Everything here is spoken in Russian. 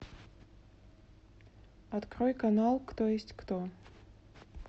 открой канал кто есть кто